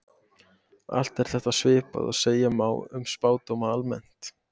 Allt er þetta svipað og segja má um spádóma almennt.